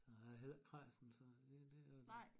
Så er jeg heller ikke kræsen så det det jo